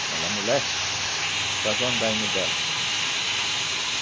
ela amolece, a gente faz o andaime dela.